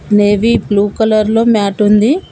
Navy blue colour లో mat ఉంది.